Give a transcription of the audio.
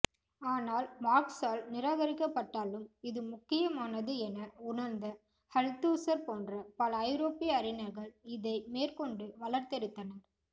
ஆனால் மார்க்ஸால் நிராகரிக்கப்பட்டாலும் இது முக்கியமானது என உணர்ந்த அல்தூஸர் போன்ற பல ஐரோப்பிய அறிஞர்கள் இதை மேற்கொண்டு வளர்த்தெடுத்தனர்